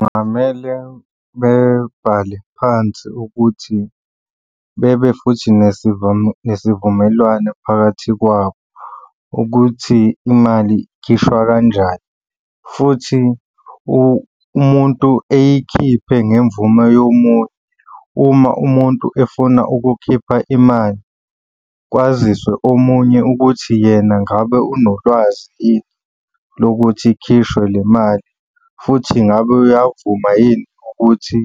Kungamele bebhale phansi ukuthi bebe futhi nesivumelwano phakathi kwabo ukuthi imali ikhishwa kanjani, futhi umuntu eyikhiphe ngemvume yomunye. Uma umuntu efuna ukukhipha imali kwaziswe omunye ukuthi yena ngabe unolwazi yini lokuthi ikhishwe le mali, futhi ngabe uyavuma yini ukuthi